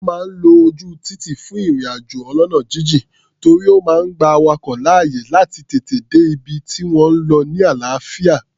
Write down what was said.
Wọ́n máa ń lo ojú títì fún ìrìn-àjò ọlọ́nà jínjìn, torí ó máa gba awakọ̀ láàyè láti tètè dé ibi tí wọ́n ń lọ ni àlàáfíà.